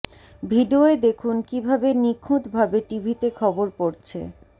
ভিডিওয় দেখুন কী ভাবে নিখুঁত ভাবে টিভিতে খবর পড়ছে